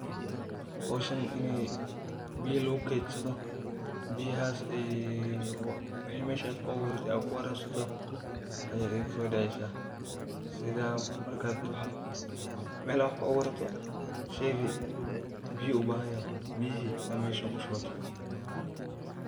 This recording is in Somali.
Hoshan in biyo lagu kedsado biyahas meshaad kuaburado ad kuwarabsato aya iguso daceysa, markad wax kuaburi rabto biyo ayu ubahanyahy.